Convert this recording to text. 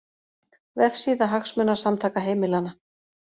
Vefsíða Hagsmunasamtaka heimilanna